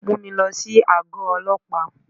Mú mi lọ sí àgọ́ Ọlọ́pàá.